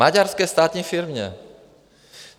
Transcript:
Maďarské státní firmě.